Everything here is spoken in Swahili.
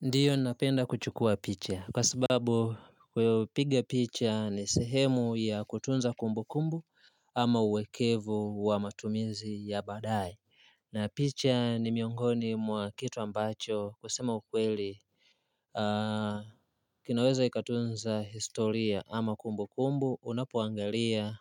Ndiyo napenda kuchukua picha kwa sababu kupiga picha ni sehemu ya kutunza kumbu kumbu ama uwekevu wa matumizi ya baadaye na picha ni miongoni mwa kitu ambacho kusema ukweli kinaweza kikatunza historia ama kumbu kumbu unapoangalia